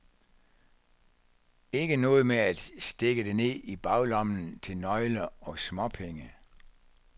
Ikke noget med at stikke det ned i baglommen til nøgler og småpenge.